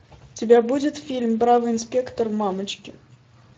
у тебя будет фильм бравый инспектор мамочкин